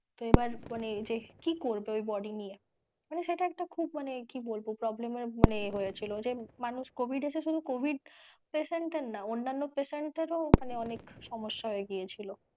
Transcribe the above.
তো এবার মানে যে কী করবে body নিয়ে মানে সেটা একটা খুব মানে কি বলবো problem এর এ হয়েছিল মানে মানুষ covid এসে শুধু covid patient এর না অন্যান্য patient এর ও মানে অনেক সমস্যা হয়ে গিয়েছিলো।